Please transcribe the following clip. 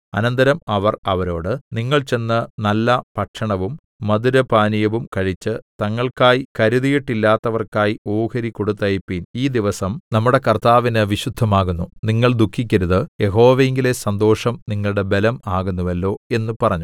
അനന്തരം അവർ അവരോട് നിങ്ങൾ ചെന്ന് നല്ല ഭക്ഷണവും മധുരപാനീയവും കഴിച്ച് തങ്ങൾക്കായി കരുതിയിട്ടില്ലാത്തവർക്കായി ഓഹരി കൊടുത്തയപ്പിൻ ഈ ദിവസം നമ്മുടെ കർത്താവിന് വിശുദ്ധമാകുന്നു നിങ്ങൾ ദുഃഖിക്കരുത് യഹോവയിങ്കലെ സന്തോഷം നിങ്ങളുടെ ബലം ആകുന്നുവല്ലോ എന്ന് പറഞ്ഞു